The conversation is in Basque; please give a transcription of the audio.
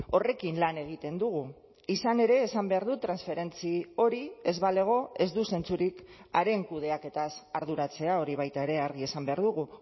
horrekin lan egiten dugu izan ere esan behar dut transferentzi hori ez balego ez du zentzurik haren kudeaketaz arduratzea hori baita ere argi esan behar dugu